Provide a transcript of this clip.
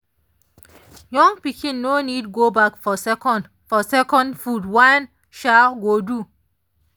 young pikin no need go back for second for second food one um go do.